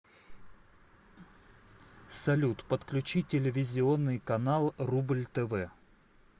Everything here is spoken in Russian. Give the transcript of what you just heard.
салют подключи телевизионный канал рубль тв